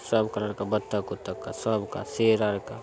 सब कलर का बत्तक ऊत्तक का सबका सेर आर का --